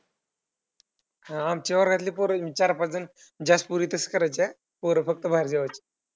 आमच्या वर्गातली पोरं चार पाच जण जास्त पोरी तसंच करायच्या. पोरं फक्त बाहेर जेवायचे.